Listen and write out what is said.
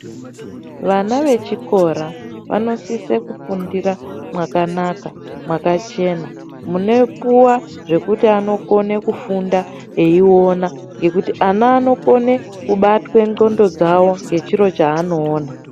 Vana vechikora vanosise kufundira mwakanaka mwakachena munopuwa zvekuti anokone kufunda eiona ngekuti ana anokone kubatwe ndxondo dzawo ngechiro chaanoona.